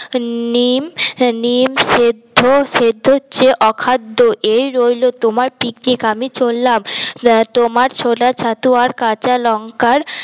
নিম নিম সেদ্ধ সেদ্ধার চেয়ে অখাদ্য এই রইল তোমার পিকনিক আমি চললাম তোমার ছোলার ছাতু আর কাঁচা লঙ্কার